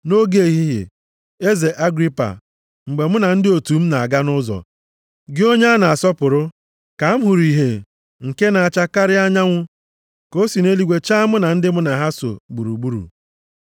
Nʼoge ehihie, eze Agripa, mgbe mụ na ndị otu m na-aga nʼụzọ, gị onye a na-asọpụrụ, ka m hụrụ ìhè nke na-acha karịa anyanwụ ka o si nʼeluigwe chaa m na ndị mụ na ha so gburugburu.